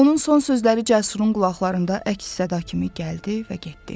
Onun son sözləri Cəsurun qulaqlarında əks-səda kimi gəldi və getdi.